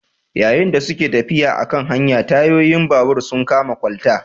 Yayin da suke tafiya a kan hanya, tayoyin babur sun kama kwalta